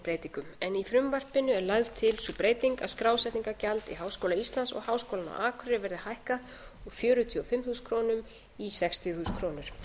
íslands og háskólann á akureyri verði hækkað úr fjörutíu og fimm þúsund krónur í sextíu þúsund krónur